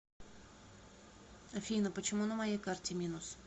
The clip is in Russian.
афина почему на моей карте минус